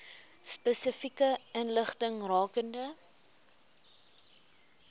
spesifieke inligting rakende